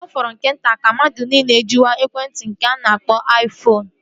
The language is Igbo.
Ọ fọrọ nke nta ka mmadụ niile jiwe ekwentị a na-akpọ aifoonu